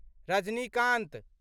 Rajinikanth